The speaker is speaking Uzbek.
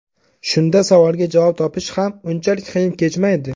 Shunda savolga javob topish ham unchalik qiyin kechmaydi.